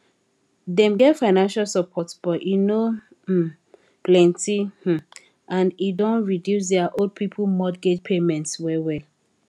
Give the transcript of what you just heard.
dem get financial support but e no um plenty um and e don reduce their old people mortgage payments well well